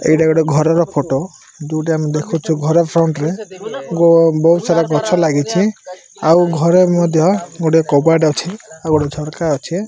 ଏଇଟା ଗୋଟେ ଘରର ଫଟୋ ଯୋଉଠି ଆମେ ଦେଖୁଚୁ ଘର ଫ୍ରଣ୍ଟ୍ ରେ ଗୋ ବୋହୁତ୍ ସାରା ଗଛ ଲାଗିଚି ଆଉ ଘରେ ମଧ୍ୟ ଗୋଟେ କବାଟ ଅଛି ଆଉ ଗୋଟେ ଝରକା ଅଛେ ।